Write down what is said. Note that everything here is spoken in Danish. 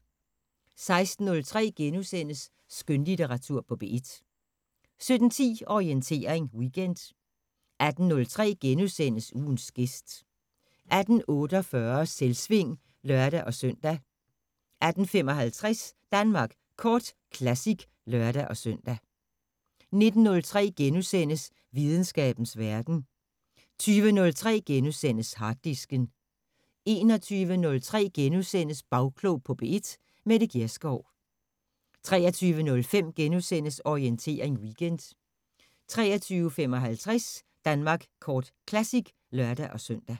16:03: Skønlitteratur på P1 * 17:10: Orientering Weekend 18:03: Ugens gæst * 18:48: Selvsving (lør-søn) 18:55: Danmark Kort Classic (lør-søn) 19:03: Videnskabens Verden * 20:03: Harddisken * 21:03: Bagklog på P1: Mette Gjerskov * 23:05: Orientering Weekend * 23:55: Danmark Kort Classic (lør-søn)